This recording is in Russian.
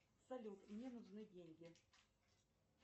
салют мне нужны деньги